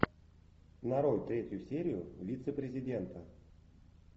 нарой третью серию вице президента